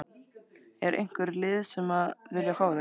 Er einhver lið sem að vilja fá þig?